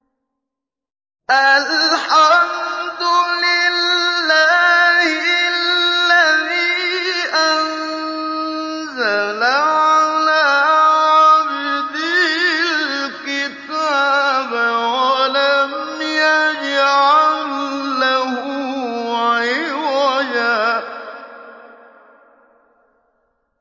الْحَمْدُ لِلَّهِ الَّذِي أَنزَلَ عَلَىٰ عَبْدِهِ الْكِتَابَ وَلَمْ يَجْعَل لَّهُ عِوَجًا ۜ